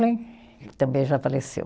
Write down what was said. também já faleceu.